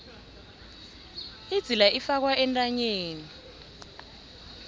idzila ifakwa entanyeni